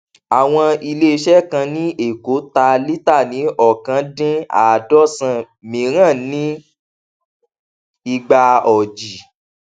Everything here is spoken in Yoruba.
àwọn iléiṣẹ kan ní èkó tà líta ní ọkan din àádọsán míìràn ní igba ọjì